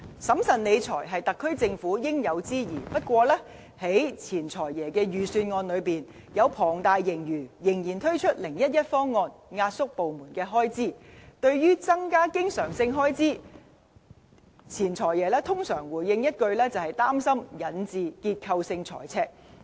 審慎理財是特區政府應有之義，不過，在前"財爺"的預算案之中，在龐大盈餘下，仍然推出 "0-1-1" 方案，壓縮部門的開支，對於增加經常性開支，前"財爺"通常回應一句，擔心引致"結構性財赤"。